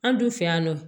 An dun fɛ yan nɔ